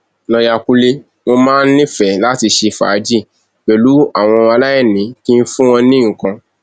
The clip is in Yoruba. lọọyà kúnlẹ mo máa ń nífẹẹ láti ṣe fàájì pẹlú àwọn aláìní kí n fún wọn ní nǹkan